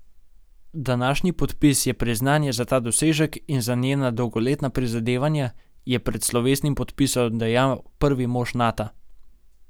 Današnji podpis je priznanje za ta dosežek in za njena dolgoletna prizadevanja, je pred slovesnim podpisom dejal prvi mož Nata.